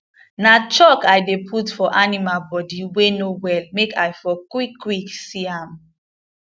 na chalk i dey put for animal body wey no well make i for quick quick see am